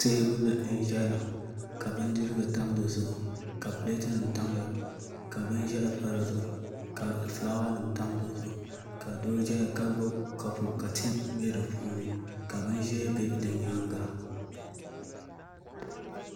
Teebuli n ʒɛya ka bindirigu tam di zuɣu ka pileetinim tamya ka binʒiɛhi pa di zuɣu ka fulaawa nim tam di zuɣu ka doo ʒɛya ka gbubi kapu ka tii bɛ di puuni ka bin ʒiɛ bɛ di nyaanga